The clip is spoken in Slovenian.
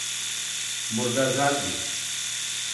Morda zadnjič.